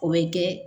O bɛ kɛ